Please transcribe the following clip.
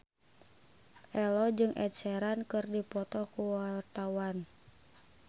Ello jeung Ed Sheeran keur dipoto ku wartawan